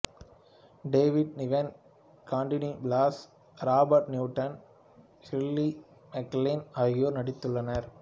David Niven Cantinflas Robert Newton Shirley MacLaine ஆகியோர் நடித்துள்ளனர்